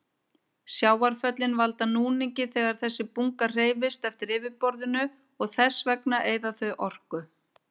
Sjávarföllin valda núningi þegar þessi bunga hreyfist eftir yfirborðinu og þess vegna eyða þau orku.